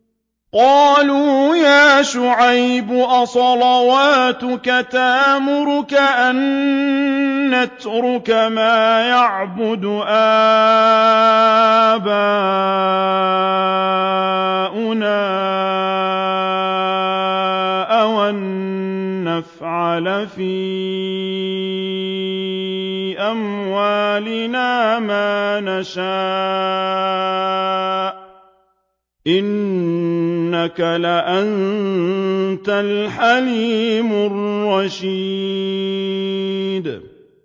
قَالُوا يَا شُعَيْبُ أَصَلَاتُكَ تَأْمُرُكَ أَن نَّتْرُكَ مَا يَعْبُدُ آبَاؤُنَا أَوْ أَن نَّفْعَلَ فِي أَمْوَالِنَا مَا نَشَاءُ ۖ إِنَّكَ لَأَنتَ الْحَلِيمُ الرَّشِيدُ